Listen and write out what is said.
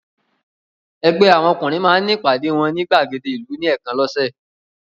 Ẹgbẹ́ àwọn ọkùnrin máa ń ní àwọn ìpàdé wọn ní ìgbàgede ìlú ní ẹ̀ẹ̀kan lọ́sẹ̀.